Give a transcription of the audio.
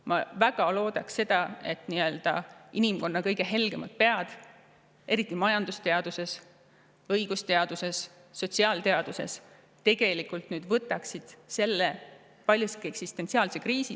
Ma väga loodan, et inimkonna kõige helgemad pead, eriti majandusteaduses, õigusteaduses ja sotsiaalteaduses, võtavad selle paljuski eksistentsiaalse kriisi.